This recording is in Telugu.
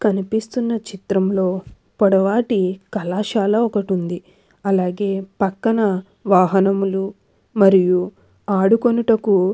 కనిపిస్తున్న చిత్రంలో పొడవాటి కళాశాల ఒకటి ఉంది అలాగే పక్కన వాహనములు మరియు ఆడుకొనుటకు --